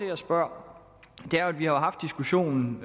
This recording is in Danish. jeg spørger er jo at vi har haft diskussionen